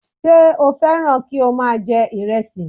Ṣé o fẹ́ràn kí o má a jẹ ìrẹsì